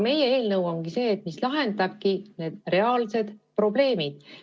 Meie eelnõu on see, mis lahendab reaalsed probleemid.